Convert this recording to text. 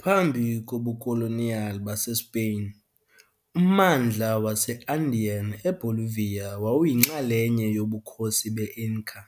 Phambi kobukoloniyali baseSpain, ummandla wase-Andean eBolivia wawuyinxalenye yoBukhosi be-Inca,